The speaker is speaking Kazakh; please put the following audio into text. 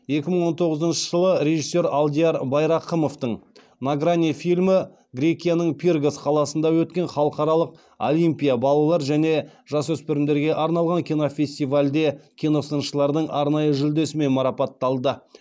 екі мың он тоғызыншы жылы режиссер алдияр байрақымовтың на грани фильмі грекияның пиргос қаласында өткен халықаралық олимпия балалар және жасөспірімдерге арналған кинофестивальде киносыншылардың арнайы жүлдесімен марапатталды